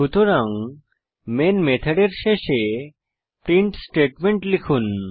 সুতরাং মেইন মেথডের শেষে প্রিন্ট স্টেটমেন্ট লিখুন